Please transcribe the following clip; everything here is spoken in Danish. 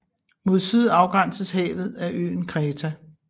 Mod syd afgrænses havet af øen Kreta